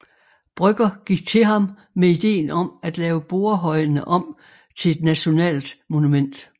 Brøgger gik til ham med ideen om at lave Borrehøjene om til et nationalt monument